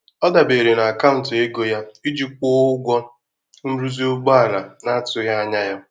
Ọ dabere na akaụntụ ego ya iji kwụọ ụgwọ nrụzi ụgbọala na-atụghị anya ya.